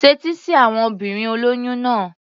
Tẹ́tí sí àwon obìnrin olóyún náà.